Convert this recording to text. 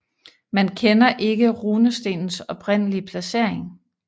Man kender ikke runestenens oprindelige placering